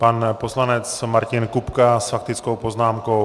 Pan poslanec Martin Kupka s faktickou poznámkou.